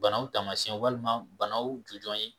Banaw taamasiyɛn walima banaw jujɔn ye